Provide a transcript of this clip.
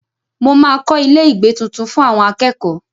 Mo máa kọ ilé-ìgbé tuntun fún àwọn akẹ́kọ̀ọ́.